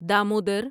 Damodar